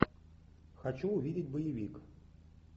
хочу увидеть боевик